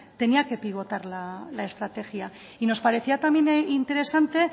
tenía que pivotar la estrategia y nos parecía también interesante